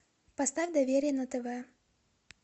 поставь доверие на тв